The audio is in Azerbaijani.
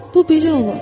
Bu belə olar.